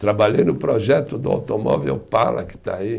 Trabalhei no projeto do automóvel Opala, que está aí.